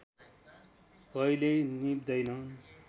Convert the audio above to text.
कहिल्यै निभ्दैन